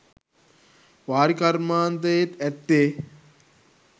වාරි කර්මාන්තයේත් ඇත්තේ